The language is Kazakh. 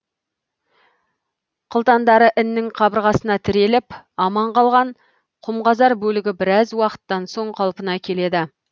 қылтандары іннің қабырғасына тіреліп аман қалған құмқазар бөлігі біраз уақыттан соң қалпына келеді